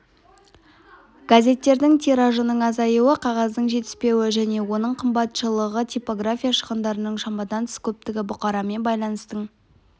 газеттердің тиражының азаюы қағаздың жетіспеуі және оның қымбатшылығы типография шығындарының шамадан тыс көптігі бұқарамен байланыстың